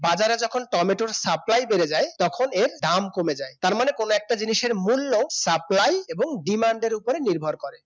বাজারে যখন টমেটোর supply বেড়ে যায় তখন এর দাম কমে যায় তার মানে কোন একটা জিনিসের মূল্য supply এবং demand এর ওপর নির্ভর করে